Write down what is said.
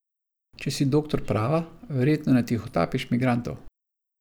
Če si doktor prava, verjetno ne tihotapiš migrantov.